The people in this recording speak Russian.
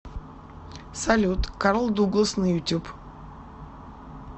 салют карл дуглас на ютуб